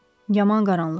Yaman qaranlıqdır.